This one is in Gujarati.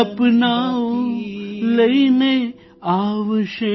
સપનાઓ લઇને આવશે